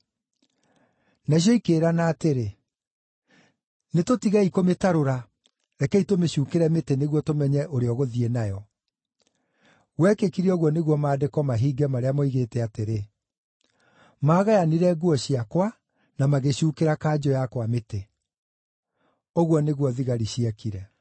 Nacio ikĩĩrana atĩrĩ, “Nĩtũtigei kũmĩtarũra; rekei tũmĩcuukĩre mĩtĩ nĩguo tũmenye ũrĩa ũgũthiĩ nayo.” Gwekĩkire ũguo nĩguo Maandĩko mahinge marĩa moigĩte atĩrĩ, “Maagayanire nguo ciakwa, na magĩcuukĩra kanjũ yakwa mĩtĩ.” Ũguo nĩguo thigari ciekire.